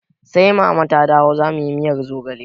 Sai mama ta dawo zamuyi miyar zogale